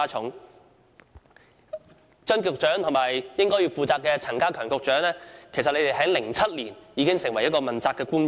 負責有關工作的張建宗局長和陳家強局長，在2007年已經出任問責官員。